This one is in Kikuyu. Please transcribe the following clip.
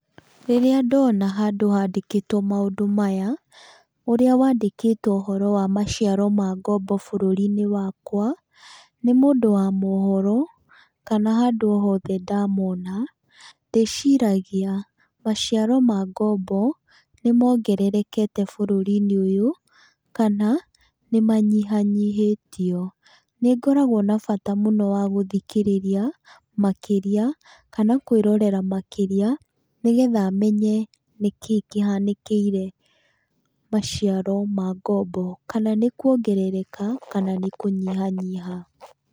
Rĩrĩa ndona handũ handĩkĩtwo maũndũ maya, ũrĩa wandĩkĩtwo ũhoro wa maciaro ma ngombo bũrũrinĩ wakwa nĩ mũndũ wa mohoro kana handũ o hothe ndamona ndĩciragia maciaro ma ngombo nĩmongererekete bũrũrinĩ ũyũ kana nĩmanyĩhanyĩhĩtio. Nĩngoragwo na bata mũno wa gũthikĩrĩria makĩria kana kwĩrorera makĩria nĩgetha menye nĩkĩĩ kĩhanĩkĩire maciro ma ngombo, kana nĩuongerereka kana nĩkũnyihanyiha.